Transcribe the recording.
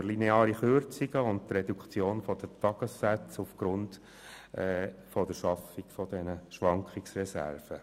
Durch lineare Kürzungen und durch eine Reduktion der Tagessätze aufgrund der Schaffung von Schwankungsreserven.